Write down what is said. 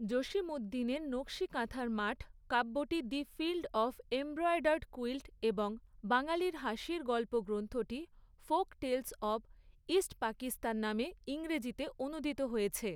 জসীম উদ্দীনের নকশী কাঁথার মাঠ কাব্যটি the field of embroidered quilt এবং বাঙালীর হাসির গল্প গ্রন্থটি folk tales of east Pakistan নামে ইংরেজিতে অনূদিত হয়েছে।